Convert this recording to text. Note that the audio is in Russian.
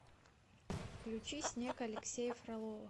включи снег алексея фролова